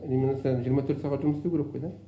реанимациялар жиырма төрт жұмыс істеу керек қой да